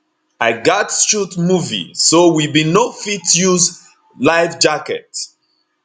i gatz shoot movie so we bin no fit use lifejackets